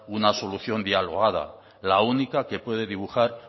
una solución dialogada la única que puede dibujar